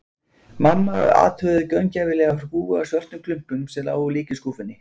Mamma athugaði gaumgæfilega hrúgu af svörtum klumpum, sem lágu líka í skúffunni.